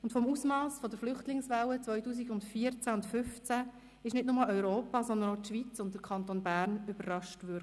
Vom Ausmass der Flüchtlingswelle 2014 und 2015 wurde nicht nur Europa, sondern auch die Schweiz und der Kanton Bern überrascht.